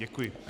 Děkuji.